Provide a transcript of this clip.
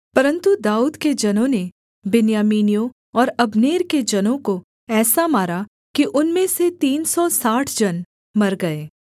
परन्तु दाऊद के जनों ने बिन्यामीनियों और अब्नेर के जनों को ऐसा मारा कि उनमें से तीन सौ साठ जन मर गए